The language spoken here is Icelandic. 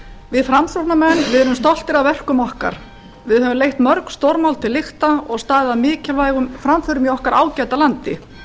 við framsóknarmenn eru stoltir af verkum okkar við höfum leitt mörg stórmál til lykta og staðið að mikilvægum framförum í okkar ágæta landi